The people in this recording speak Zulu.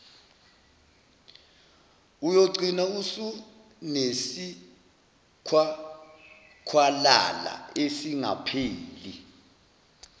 uyogcina usunesikhwakhwalala esingapheli